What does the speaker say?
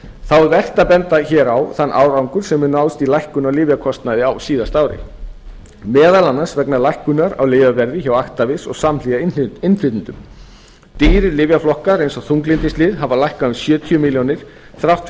þá er vert að benda hér á þann árangur sem hefur náðst í lækkun á lyfjakostnaði á síðasta ári meðal annars vegna lækkunar á lyfjaverði hjá actavis og samhliða innflytjendum dýrir lyfjaflokkar eins og þunglyndislyf hafa lækkað um sjötíu milljónir þrátt